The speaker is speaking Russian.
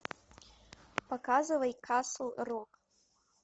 показывай касл рок